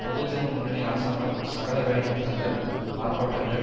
பொதுஜன முன்னணி அரசாங்கம் சகல வேலைநிறுத்தங்கள் ஆர்ப்பாட்டங்கள்